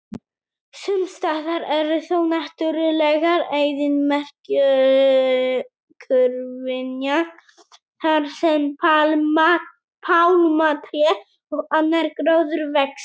Sumstaðar eru þó náttúrulegar eyðimerkurvinjar þar sem pálmatré og annar gróður vex.